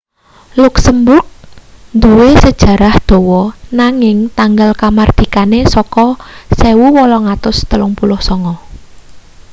luksemburg duwe sejarah dawa nanging tanggal kamardikane saka 1839